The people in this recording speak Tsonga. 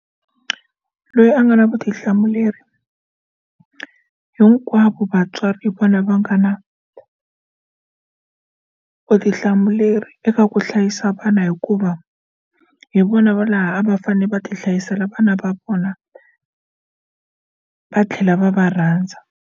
Loyi a nga na vutihlamuleri hinkwavo vatswari hi vona va nga na vutihlamuleri eka ku hlayisa vana hikuva hi vona va laha a va fane va ti hlayisela vana va vona va tlhela va va rhandza.